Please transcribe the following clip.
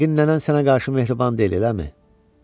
Yəqin nənən sənə qarşı mehriban deyil, eləmi?